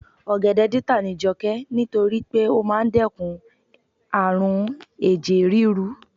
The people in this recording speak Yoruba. ogede data ni joke ni to ri pe o maa n dekun arun eje riru